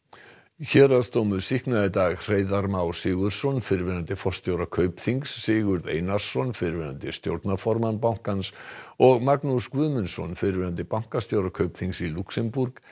héraðsdómur sýknaði í dag Hreiðar Má Sigurðsson fyrrverandi forstjóra Kaupþings Sigurð Einarsson fyrrverandi stjórnarformann bankans og Magnús Guðmundsson fyrrverandi bankastjóra Kaupþings í Lúxemborg